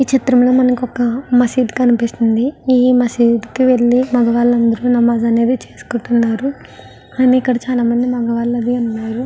ఈ చిత్రంలో మనకు ఒక మసీదు కనిపిస్తుంది. ఈ మసీదుకు వెళ్లి మగవాళ్ళందరూ నమాజ్ చేసుకుంటున్నారు ఎక్కడ చాలామంది మగవాళ్ళు ఉన్నారు.